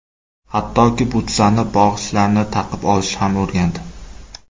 Hattoki, butsaning bog‘ichlarini taqib olishni ham o‘rgandi.